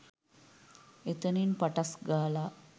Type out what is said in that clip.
එතනින් පටස් ගාලා